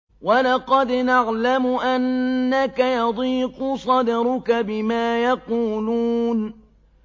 وَلَقَدْ نَعْلَمُ أَنَّكَ يَضِيقُ صَدْرُكَ بِمَا يَقُولُونَ